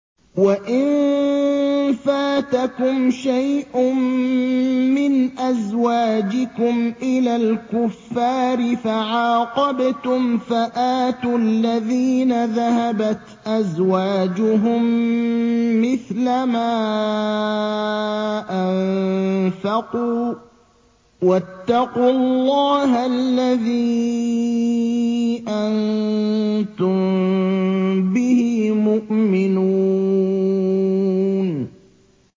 وَإِن فَاتَكُمْ شَيْءٌ مِّنْ أَزْوَاجِكُمْ إِلَى الْكُفَّارِ فَعَاقَبْتُمْ فَآتُوا الَّذِينَ ذَهَبَتْ أَزْوَاجُهُم مِّثْلَ مَا أَنفَقُوا ۚ وَاتَّقُوا اللَّهَ الَّذِي أَنتُم بِهِ مُؤْمِنُونَ